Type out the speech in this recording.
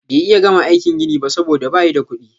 Bay iya gama aikin gini ba soboda bayi da kudi.